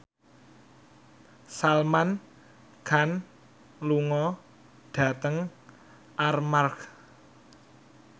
Salman Khan lunga dhateng Armargh